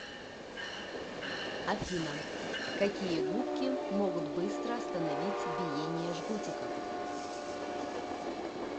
афина какие губки могут быстро остановить биение жгутиков